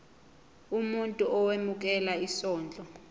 umuntu owemukela isondlo